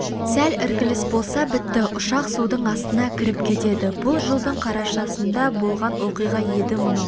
сәл іркіліс болса бітті ұшақ судың астына кіріп кетеді бұл жылдың қарашасында болған оқиға еді мынау